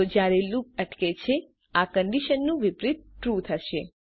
તો જયારે લૂપ અટકે છે આ કન્ડીશનનું વિપરીત ટ્રૂ થશે